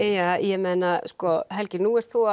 ég meina sko Helgi nú ert þú